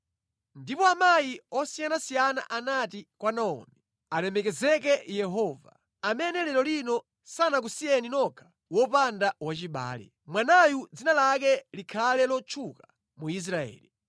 Ndipo amayi osiyanasiyana anati kwa Naomi. “Alemekezeke Yehova, amene lero lino sanakusiyeni nokha wopanda wachibale. Mwanayu dzina lake likhale lotchuka mu Israeli.